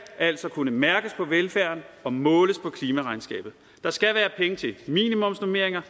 altså kunne mærkes på velfærden og måles på klimaregnskabet der skal være penge til minimumsnormeringer